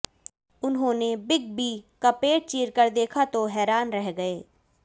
उन्होंने Big B का पेट चीरकर देखा तो हैरान रह गए